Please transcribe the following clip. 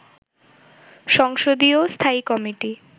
সংসদীয় স্থায়ী কমিটি